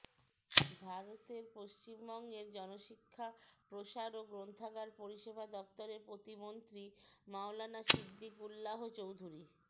ভারতের পশ্চিমবঙ্গের জনশিক্ষা প্রসার ও গ্রন্থাগার পরিসেবা দফতরের প্রতিমন্ত্রী মাওলানা সিদ্দিকুল্লাহ চৌধুরী